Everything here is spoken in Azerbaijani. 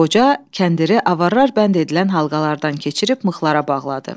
Qoca kəndiri avarlar bənd edilən halqalardan keçirib mıxlara bağladı.